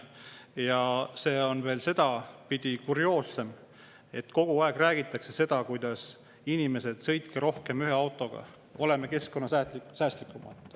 Ja see on sedapidi veel kurioossem, et kogu aeg räägitakse: "Inimesed, sõitke rohkem ühe autoga, oleme keskkonnasäästlikumad.